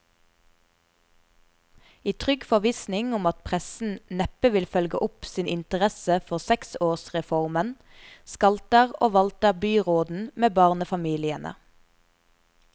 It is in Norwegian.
I trygg forvissning om at pressen neppe vil følge opp sin interesse for seksårsreformen, skalter og valter byråden med barnefamiliene.